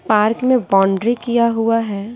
Park में boundary किया हुआ है।